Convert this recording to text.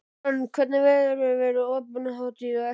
Hrönn, hvernig, verður opnunarhátíð á eftir?